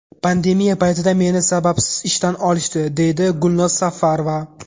Pandemiya paytida meni sababsiz ishdan olishdi”, deydi Gulnoz Safarova.